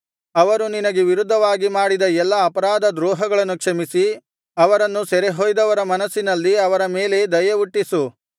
ಅವರು ನಿನಗೆ ವಿರುದ್ಧವಾಗಿ ಮಾಡಿದ ಎಲ್ಲಾ ಅಪರಾಧ ದ್ರೋಹಗಳನ್ನು ಕ್ಷಮಿಸಿ ಅವರನ್ನು ಸೆರೆಯೊಯ್ದವರ ಮನಸ್ಸಿನಲ್ಲಿ ಅವರ ಮೇಲೆ ದಯೆಹುಟ್ಟಿಸು